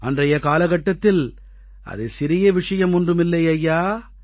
அன்றைய காலகட்டத்தில் அது சிறிய விஷயம் ஒன்றும் இல்லை ஐயா